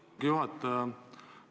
Lugupeetud juhataja!